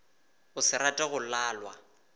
go se rate go lalwa